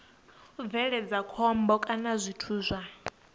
bveledza khombo kana zwithu zwa